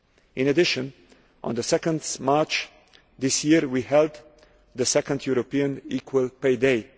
In addition, on 2 March this year we held the second European Equal Pay Day.